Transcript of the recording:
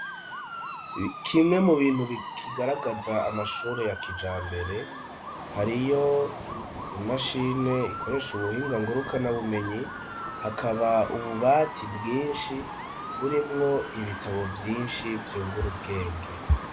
Kimwe mu bintu bikigaragaza amashure ya kija mbere hariyo imashine ikoresha ubuhinga nguruka nabumenyi hakaba ububati bwinshi burimwo ibitabo vyinshi vyungura ubwenge.